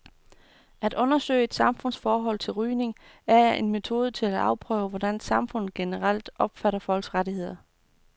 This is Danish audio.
At undersøge et samfunds forhold til rygning er en metode til at afprøve, hvordan samfundet opfatter folks rettigheder generelt.